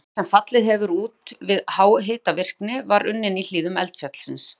Brennisteinn, sem fallið hefur út við háhitavirkni, var unninn í hlíðum eldfjallsins